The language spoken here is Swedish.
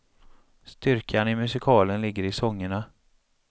Styrkan i musikalen ligger i sångerna.